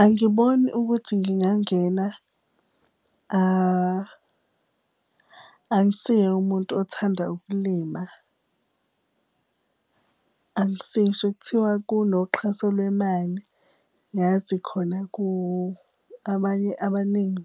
Angiboni ukuthi ngingangena angisiye umuntu othanda ukulima. Angisiye ekuthiwa kunoxhaso lwemali, yazi khona abanye abaningi